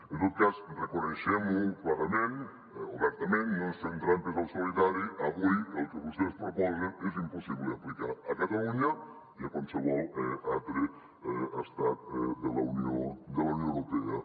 en tot cas reconeguem ho clarament obertament no ens fem trampes al solitari avui el que vostès proposen és impossible d’aplicar a catalunya i a qualsevol altre estat de la unió europea